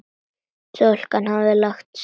Stúlkan hafði lagt fram kæru.